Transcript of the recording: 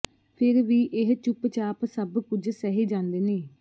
ਫਿਰ ਵੀ ਇਹ ਚੁੱਪਚਾਪ ਸਭ ਕੁਝ ਸਹਿ ਜਾਂਦੇ ਨੇ